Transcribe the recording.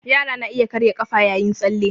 Yara na iya karya ƙafa yayin tsalle